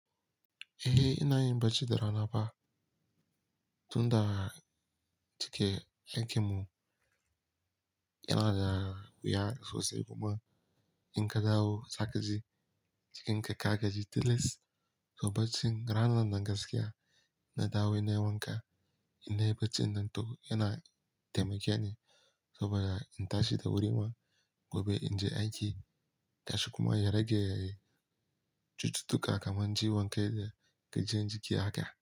Eh ina yin bacci da rana fa. Tunda cike aikin mu yana da wuya sosai kuma in ka dawo saje, jikin ka ka gaji tilis. To baccin ranan nan gaskiya na dawo nayi wanka, in na yi bacci nan to yana taimake ni saboda in tashi da wuri ma gobe in je aiki. Gashi kuma ya rage cututtuka kaman ciwon kai da gajiyan jiki haka.